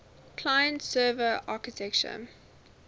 client server architecture